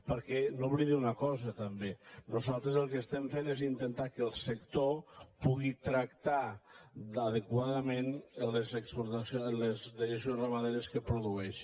perquè no oblidi una cosa també nosaltres el que estem fent és intentar que el sector pugui tractar adequadament les dejeccions ramaderes que produeix